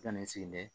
Ka na n sigi